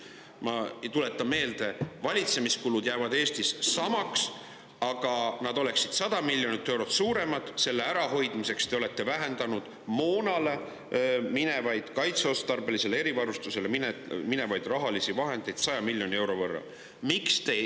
Ma tuletan meelde, et valitsemiskulud jäävad Eestis samaks, aga et nad ei oleks 100 miljonit eurot suuremad, selle ärahoidmiseks te olete vähendanud moonale, kaitseotstarbelisele erivarustusele minevaid rahalisi vahendeid 100 miljoni euro võrra.